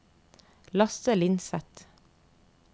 Lasse Lindseth